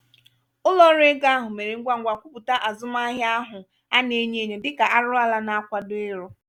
ụlo-ọru ego ahụ mèrè ngwangwa kwupụta azụmahịa ahụ ana-enyo enyo dịka arụrụala na-akwado ịrụ.